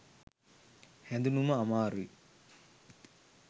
හැදුනම අමාරුයි